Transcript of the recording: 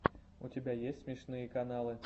у тебя есть смешные каналы